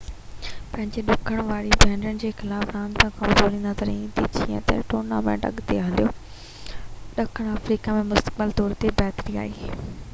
پنهنجين ڏکڻ واري ڀينرن جي خلاف راند ۾ ڪمزور نظر ايندي جيئن ئي ٽورنامينٽ اڳتي هليو ڏکڻ آفريڪا ۾ مستقل طور تي بهتري آئي